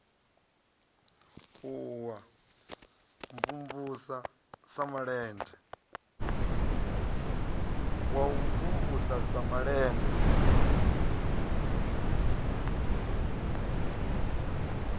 wa u mvumvusa sa malende